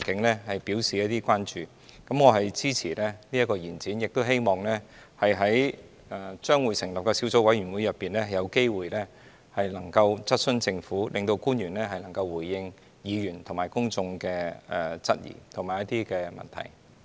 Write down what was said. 我支持這項延展審議期限的議案，亦希望在將會成立的小組委員會內，有機會質詢政府，令官員能夠回應議員和公眾的質疑及一些問題。